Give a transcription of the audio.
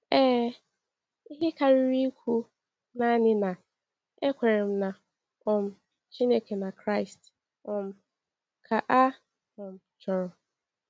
Ee, ihe karịrị ikwu naanị na, ‘Ekwere m na um Chineke na Kraịst’ um ka a um chọrọ.